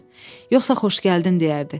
Yoxsa xoş gəldin deyərdi.